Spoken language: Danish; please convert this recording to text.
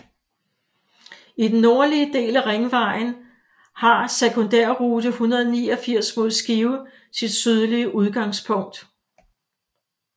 I den nordlige del af Ringvejen har sekundærrute 189 mod Skive sit sydlige udgangspunkt